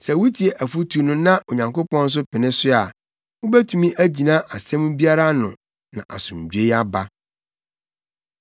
Sɛ wutie afotu no na Onyankopɔn nso pene so a, wubetumi agyina asɛm biara ano na asomdwoe aba.”